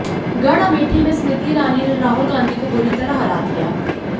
गढ़ अमेठी में स्मृति ईरानी ने राहुल गांधी को बुरी तरह हरा दिया